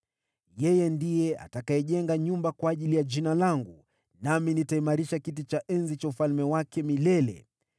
Yeye ndiye atakayejenga nyumba kwa ajili ya Jina langu, nami nitaimarisha kiti cha enzi cha ufalme wake milele.